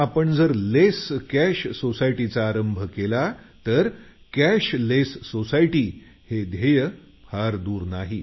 आपण जर कॅशलेस सोसायटीचा आरंभ केला तर ध्येय दूर नाही